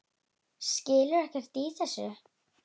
Skilur ekkert í þessu.